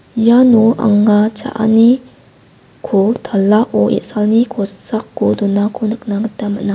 iano anga cha·ani-ko talao e·salni kosako donako nikna gita man·a.